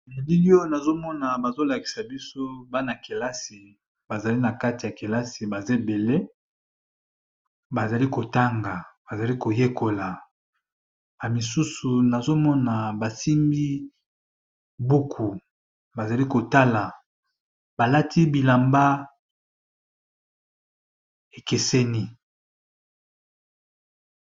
Na billi Oyo nazomona bazo lakisa biso bna kelasi bazo tanga bamisusu bazo tanga ba buku